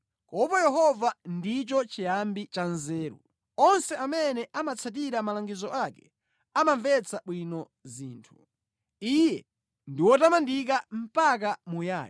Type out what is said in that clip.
Kuopa Yehova ndicho chiyambi cha nzeru; onse amene amatsatira malangizo ake amamvetsa bwino zinthu. Iye ndi wotamandika mpaka muyaya.